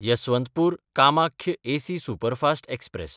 यसवंतपूर–कामाख्य AC superfast express